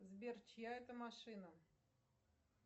сбер чья это машина